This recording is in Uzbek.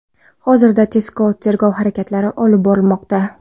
Hozirda tezkor tergov harakatlari olib borilmoqda.